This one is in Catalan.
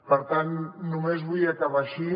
per tant només vull acabar així